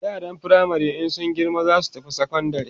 yaran firamare in sun girma zasu tafi sekondari